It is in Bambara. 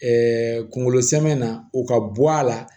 kungolo sɛmɛn na u ka bɔ a la